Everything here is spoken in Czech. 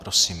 Prosím.